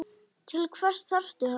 Til hvers þarftu hann?